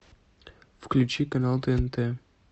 включи канал тнт